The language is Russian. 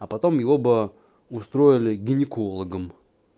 а потом его бы устроили гинекологом